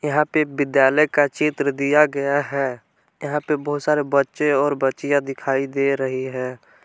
यहां पे विद्यालय का चित्र दिया गया है यहां पे बहुत सारे बच्चे और बच्चियां दिखाई दे रही है।